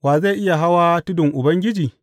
Wa zai iya hawan tudun Ubangiji?